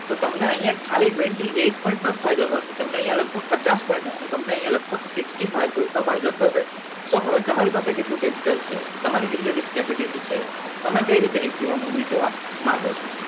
તો તમને અહીંયા ખાલી અથ્યવિસ પોઈન્ટ ફાયદો થશે તમને અહીંયા લગભગ પચાસ point નો તમને લગભગ sixty five percentage નો ફાયદો થશે તો હવે તમારી થશે પાસે કેટલું capital છે તમારી કેપીટી છે તમે કઈ રીતના movement લેવા માંગો છો